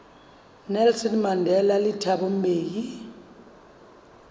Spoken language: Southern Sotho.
nelson mandela le thabo mbeki